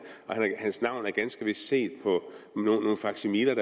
og hans navn er set på nogle faksimiler